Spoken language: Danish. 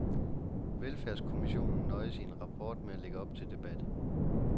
Velfærdskommissionen nøjes i ny rapport med at lægge op til debat.